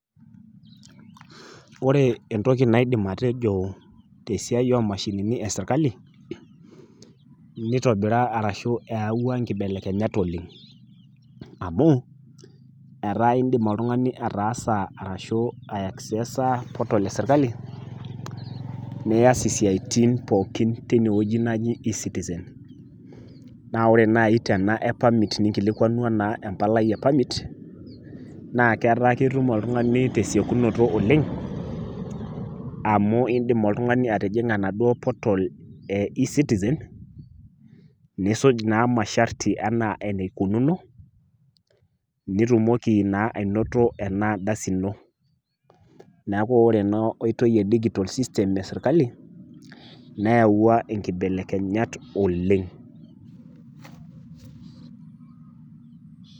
Ore entoki naidim atejo te esiai o imashinini e sirkali, neitobiraa ashu eyauwa inkitobirat oleng' amu, ataa indim oltung'ani ataasa ashu eiaksesa portal e sirkali nias isiaitin pooki teine wueji naji e-Citizen. Naa ore naaji ena e permit tininkilikwanu empalai e permit naa ketaa ketum oltung'ani te esiekunoto oleng' amu indim oltung'ani atijing'a naduo portal eCitizen, niisuj naa imasharti a aanaa eneikununo, nitumoki naa ainoto ena ardasi ino, neaku ore taa ena oitoi e digitol system e sirkali neyauwa inkibelekenyat oleng'.